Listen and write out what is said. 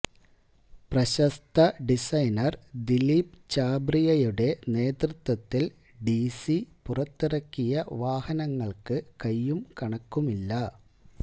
പ്രശസ്ത ഡിസൈനര് ദിലീപ് ഛാബ്രിയയുടെ നേതൃത്വത്തില് ഡിസി പുറത്തിറക്കിയ വാഹനങ്ങള്ക്ക് കൈയ്യും കണക്കുമില്ല